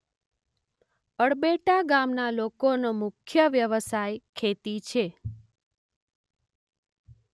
અળબેટા ગામના લોકોનો મુખ્ય વ્યવસાય ખેતી છે.